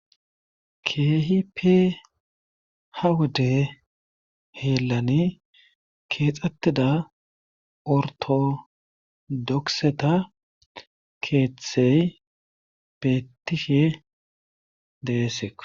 Keehippe ha wodde hiillani keexettda orttodokiseta keethey beettishe deesekko.